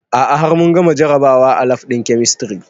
A'a har mun gama jarabawa a lab ɗin kemistri